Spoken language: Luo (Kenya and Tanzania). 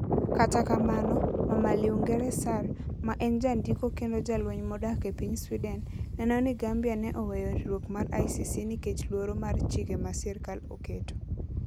Kata kamano, Mama Linguere Sarr, ma en jandiko kendo jalweny modak e piny Sweden, neno ni Gambia ne oweyo riwruok mar ICC nikech luoro mar chike ma sirkal oketo.